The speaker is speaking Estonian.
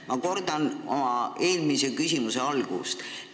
Ma kordan oma eelmise küsimuse algust.